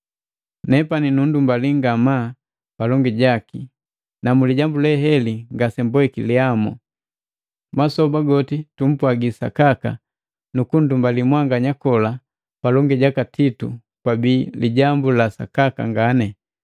Nepani nunndumbali ngamaa palongi jaki, na mu lijambu leheli ngasemboiki lihamu. Masoba goti tumpwagi sakaka, nukundumbalii mwanganya kola palongi jaka Titu kwabii lijambu la sakaka ngani.